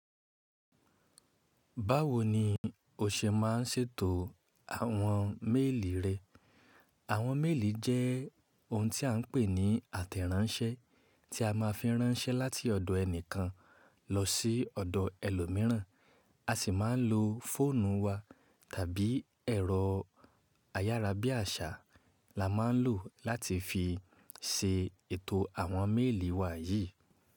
Báwo ni o ṣe má ń ṣètò àwọn méèlì rẹ? Àwọn méèlì jẹ́ ohun tí a ń pè ní àtẹ̀ráńṣẹ́, tí a ma fi ránṣẹ́ láti ọ̀dọ̀ ẹni kan lọ sí ọ̀dọ̀ ẹlòmíràn. A sì má ń lo fóònù wa tàbí ẹ̀rọ ayárabíàṣá la má ń lò láti fi ṣe ètò àwọn méèlì wa yìí.